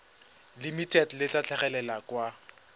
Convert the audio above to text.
limited le tla tlhagelela kwa